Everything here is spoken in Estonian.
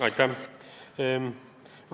Aitäh!